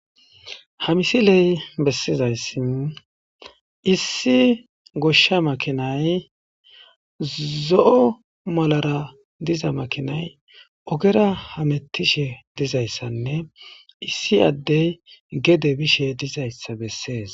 Ha misile besizaysi issi goshsha makinay, zoo' malara Dee'zays ogera hametishe dizaysanne issi ade gede bishe dizaysa besses.